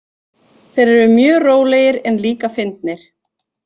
Þeir eru mjög rólegir en líka fyndnir.